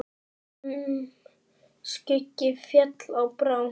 Húm skuggi féll á brá.